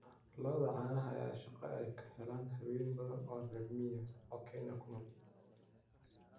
Lo'da caanaha ayaa ah il shaqo oo ay ka helaan haween badan oo reer miyi ah oo Kenya ku nool.